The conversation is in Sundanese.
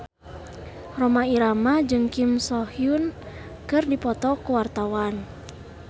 Rhoma Irama jeung Kim So Hyun keur dipoto ku wartawan